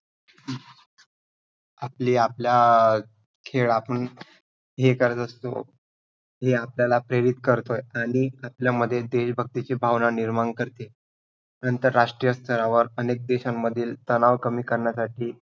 आपली आपल्या अं खेळ आपण हे करत असतो जे आपल्याला प्रेरित करतो आणि आपल्यामध्ये देशभक्तीची भावना निर्माण करते. आंतरराष्ट्रीय स्तरावर अनेक देशांमधील तनाव कमी करण्यासाठी.